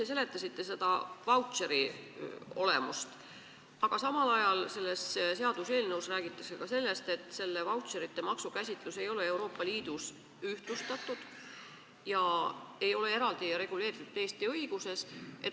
Te seletasite kenasti vautšeri olemust, aga samal ajal selles seaduseelnõus räägitakse ka sellest, et selle vautšerite maksu käsitlus ei ole Euroopa Liidus ühtlustatud ega ole ka Eesti õiguses eraldi reguleeritud.